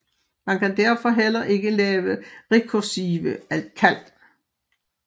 Man kan derfor heller ikke lave rekursive kald